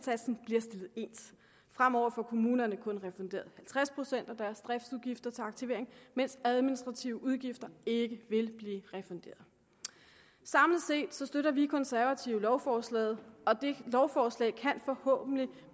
ens fremover får kommunerne kun refunderet halvtreds procent af deres driftsudgifter til aktivering mens administrative udgifter ikke vil blive refunderet samlet set støtter vi konservative lovforslaget og det lovforslag kan forhåbentlig